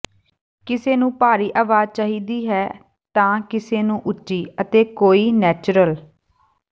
ਕਿਸੇ ਨੂੰ ਭਾਰੀ ਅਵਾਜ਼ ਚਾਹੀਦੀ ਹੈ ਤਾਂ ਕਿਸੇ ਨੂੰ ਉੱਚੀ ਅਤੇ ਕੋਈ ਨੈਚੁਰਲ